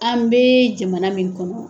An bee jamana min kɔnɔ